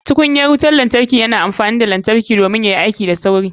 Tukunyar wutar lantarki yana amfani da lantarki yayi aiki da sauri.